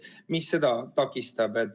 Mis seda takistab?